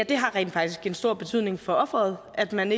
det har rent faktisk en stor betydning for ofret at man